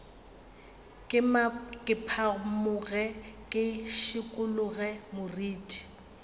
ke phamoge ke šikologe moriti